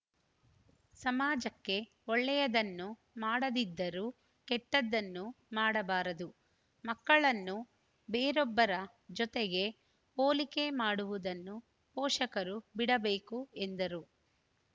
ಸಮಾಜಕ್ಕೆ ಒಳ್ಳೆಯದನ್ನು ಮಾಡದಿದ್ದರೂ ಕೆಟ್ಟದನ್ನು ಮಾಡಬಾರದು ಮಕ್ಕಳನ್ನು ಬೇರೊಬ್ಬರ ಜೊತೆಗೆ ಹೊಲಿಕೆ ಮಾಡುವುದನ್ನು ಪೋಷಕರು ಬಿಡಬೇಕು ಎಂದರು